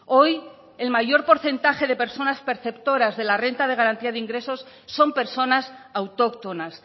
hoy el mayor porcentaje de personas perceptoras de la renta de garantía de ingresos son personas autóctonas